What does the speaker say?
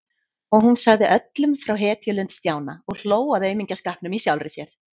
Og hún sagði öllum frá hetjulund Stjána og hló að aumingjaskapnum í sjálfri sér.